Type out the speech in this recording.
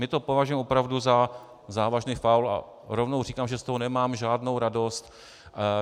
My to považujeme opravdu za závažný faul a rovnou říkám, že z toho nemám žádnou radost.